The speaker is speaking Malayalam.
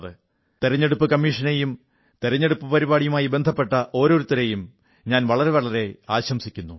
തിരഞ്ഞെടുപ്പു കമ്മീഷനെയും തിരിഞ്ഞെടുപ്പു പരിപാടിയുമായി ബന്ധപ്പെട്ട ഓരോരുത്തരെയും വളരെയധികം പ്രശംസിക്കുന്നു